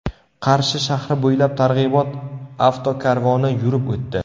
Qarshi shahri bo‘ylab targ‘ibot avtokarvoni yurib o‘tdi .